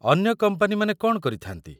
ଅନ୍ୟ କମ୍ପାନୀମାନେ କ'ଣ କରିଥାନ୍ତି?